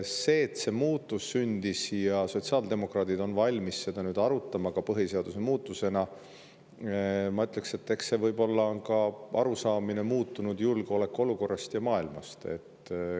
See, et see muutus sündis ja sotsiaaldemokraadid on valmis seda nüüd arutama ka põhiseaduse muutmisena – ma ütleks, et eks see võib-olla on ka arusaamine muutunud julgeolekuolukorrast ja maailmast.